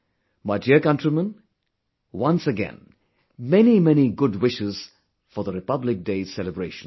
My dear countrymen, once again many many good wishes for the Republic Day celebrations